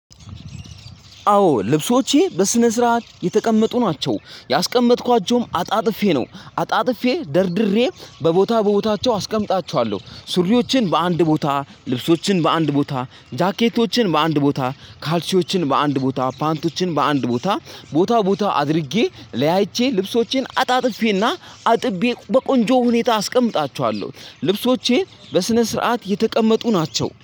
አዎ ልብሶቼ በስነስርዓት የተቀመጡ ናቸው ያስቀመጥኳቸውም አጣጥፌ ነው አጣጥፌ ደርድሬ በቦታ በቦታቸው አስቀምጣችኋለሁ ሱሪዎችን በአንድ ቦታ ልብሶችን በአንድ ቦታ ጃኬቶችን በአንድ ቦታ ካልሲዎችን በአንድ ቦታ ፓንቶችን በአንድ ቦታ ቦታ ቦታ አድርጌ ለያይቼ ልብሶቼን አጣጥፌና አጥቤ በቆንጆ ሁኔታ አስቀምጣቸዋለሁ። ልብሶቼ በስነ ስርዓት የተቀመጡ ናቸው